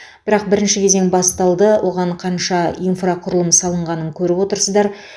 бірақ бірінші кезең басталды оған қанша инфрақұрылым салынғанын көріп отырсыздар